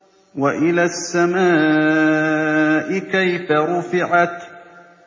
وَإِلَى السَّمَاءِ كَيْفَ رُفِعَتْ